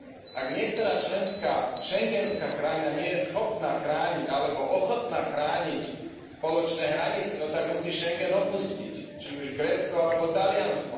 Ak niektorá členská schengenská krajina nie je schopná chrániť alebo ochotná chrániť spoločné hranice, no tak musí Schengen opustiť, či už Grécko alebo Taliansko.,